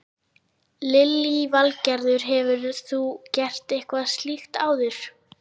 Lillý Valgerður: Hefur þú gert eitthvað slíkt áður?